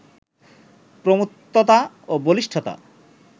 প্রমত্ততা ও বলিষ্ঠতা